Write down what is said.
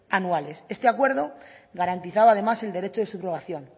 anuales este acuerdo garantizaba además el derecho de subrogación